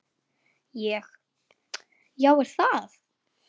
Ég: Já er það?